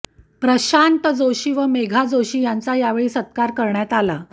प्रशांत जोशी व मेघा जोशी यांचा यावेळी सत्कार करण्यात आला